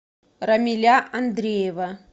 рамиля андреева